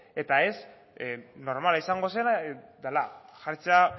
eta ez normala izango zena dela jartzea